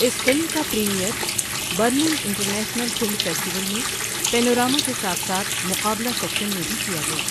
اس film کا premiere Berlin international film festival میں، panorama کے ساتھ ساتھ مقابلہ سیکشن میں بھی کیا گیا۔